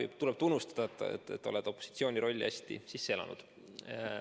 Jah, tuleb tunnustada, et sa oled opositsiooni esindaja rolli hästi sisse elanud.